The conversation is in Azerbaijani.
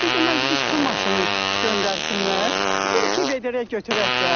Heç olmasa bir su maşını göndərsinlər, bir iki vedrə götürək də.